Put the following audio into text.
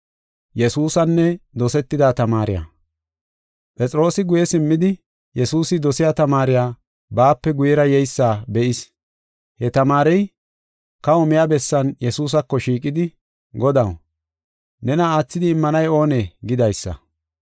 Phexroosi guye simmidi, Yesuusi dosiya tamaarey baape guyera yeysa be7is. He tamaarey, kaho miya bessan Yesuusako shiiqidi, “Godaw, nena aathidi immanay oonee?” gidaysa.